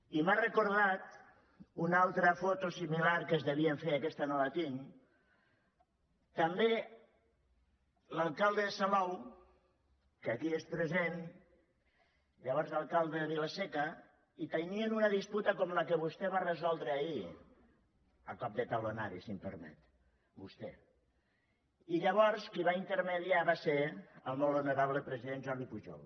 i m’ha recordat una altra foto similar que es devien fer aquesta no la tinc també l’alcalde de salou que aquí és present llavors era alcalde de vila seca i tenien una disputa com la que vostè va resoldre ahir a cop de talonari si em permet vostè i llavors qui va mitjançar va ser el molt honorable president jordi pujol